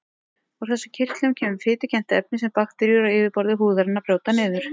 Úr þessum kirtlum kemur fitukennt efni sem bakteríur á yfirborði húðarinnar brjóta niður.